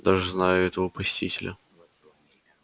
даже знаю этого посетителя